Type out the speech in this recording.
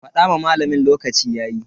Fada ma malamin lokaci yayi.